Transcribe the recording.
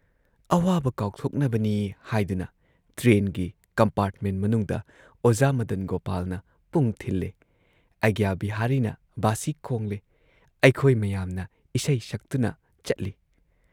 ꯑꯋꯥꯕ ꯀꯥꯎꯊꯣꯛꯅꯕꯅꯤ ꯍꯥꯏꯗꯨꯅ ꯇ꯭ꯔꯦꯟꯒꯤ, ꯀꯝꯄꯥꯔꯠꯃꯦꯟꯠ ꯃꯅꯨꯡꯗ ꯑꯣꯖꯥ ꯃꯗꯟ ꯒꯣꯄꯥꯜꯅ ꯄꯨꯡ ꯊꯤꯜꯂꯦ, ꯑꯩꯒ꯭ꯌꯥ ꯕꯤꯍꯥꯔꯤꯅ ꯚꯥꯁꯤ ꯈꯣꯡꯂꯦ , ꯑꯩꯈꯣꯏ ꯃꯌꯥꯝꯅ ꯏꯁꯩ ꯁꯛꯇꯨꯅ ꯆꯠꯂꯤ ꯫